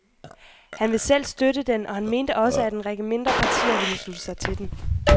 Han vil selv støtte den, og han mente også, at en række mindre partier vil slutte sig til den.